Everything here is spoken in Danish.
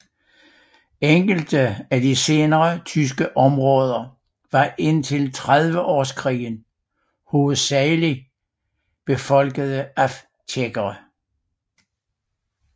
Enkelte af de senere tyske områder var indtil trediveårskrigen hovedsagelig befolkede af tjekkere